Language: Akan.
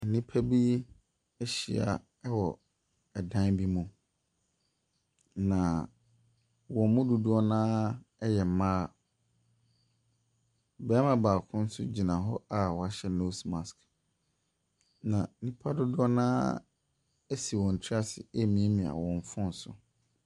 Nnipa bi ahyia wɔ dan bi mu, na wɔn mu dodoɔ no ara yɛ mmaa. Barima baako nso gyina hɔ a wahyɛ nose mask, na nnipa dodoɔ no ara asi wɔn tiri ase remiamia wɔn phone so.